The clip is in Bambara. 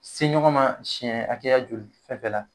se ɲɔgɔn ma siyɛn hakɛya joli fɛn fɛn la.